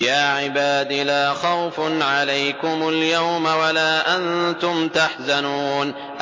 يَا عِبَادِ لَا خَوْفٌ عَلَيْكُمُ الْيَوْمَ وَلَا أَنتُمْ تَحْزَنُونَ